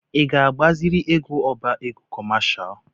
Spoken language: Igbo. Ị ga-agbaziri ego ọbá égo kọmashal?